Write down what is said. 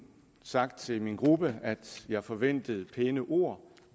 sagt til min gruppe at jeg forventede pæne ord